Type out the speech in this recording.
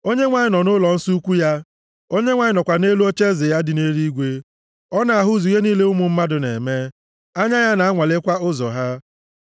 Onyenwe anyị nọ nʼụlọnsọ ukwuu ya; Onyenwe anyị nọkwa nʼelu ocheeze ya dị nʼeluigwe. + 11:4 Nke a bụ maka ocheeze Onyenwe anyị Ọ na-ahụzu ihe niile ụmụ mmadụ na-eme; anya ya na-anwalekwa ụzọ ha.